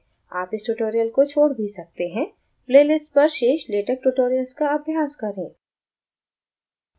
आप इस tutorial को छोड़ भी सकते हैं playlist पर शेष latex tutorials का अभ्यास करें